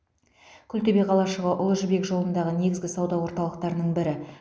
күлтөбе қалашығы ұлы жібек жолындағы негізгі сауда орталықтарының бірі